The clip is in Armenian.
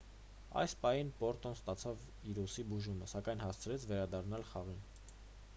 այդ պահին պոտրոն ստացավ իր ուսի բուժումը սակայն հասցրեց վերադառնալ խաղին